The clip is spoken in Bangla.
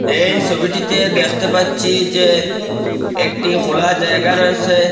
এই সবিটিতে দেখতে পাচ্ছি যে একটি খোলা জায়গা রয়েসে।